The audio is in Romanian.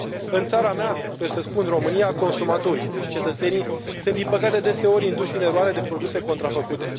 În țara mea, trebuie să spun, România, consumatorii, deci cetățenii, sunt, din păcate, deseori induși în eroare de produse contrafăcute.